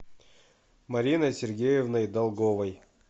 мариной сергеевной долговой